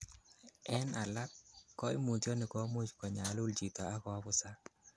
En alak, koimutioniton komuch konyalul chito ak koabusak.